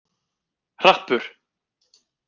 Hrappur